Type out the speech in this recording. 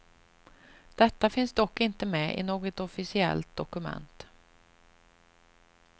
Detta finns dock inte med i något officiellt dokument.